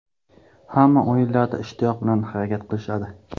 Hamma o‘yinlarda ishtiyoq bilan harakat qilishadi.